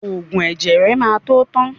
Ògùn ẹ̀jẹ̀ ẹ má tó tán